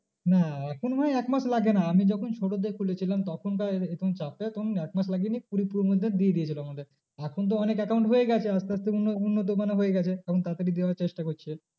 না এখন মনে হয় এক মাস লাগে না আমি যখন ছোটোতে খুলেছিলাম তখন ধর তখন এক মাস লাগেনি কুড়ি মধ্যে দিয়ে দিয়েছিলো আমাদের। এখন তো অনেক account হয়ে গেছে আস্তে আস্তে অন্য অন্য হয়ে গেছে এখন তাড়াতাড়ি দেওয়ার চেষ্টা করছে।